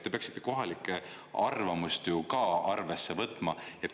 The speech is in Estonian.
Te peaksite kohalike arvamust ju ka arvesse võtma.